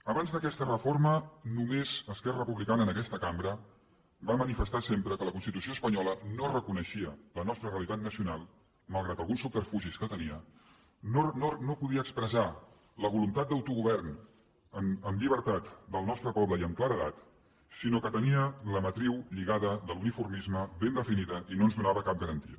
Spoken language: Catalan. abans d’aquesta reforma només esquerra republicana en aquesta cambra va manifestar sempre que la constitució espanyola no reconeixia la nostra realitat nacional malgrat alguns subterfugis que tenia no podia expressar la voluntat d’autogovern amb llibertat del nostre poble i amb claredat sinó que tenia la matriu lligada de l’uniformisme ben definida i no ens donava cap garantia